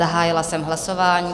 Zahájila jsem hlasování.